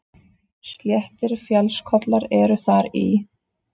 Sléttir fjallskollar eru þar í